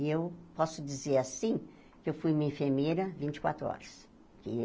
E eu posso dizer assim que eu fui uma enfermeira vinte e quatro horas.